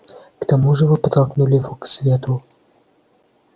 к тому же вы подтолкнули его к свету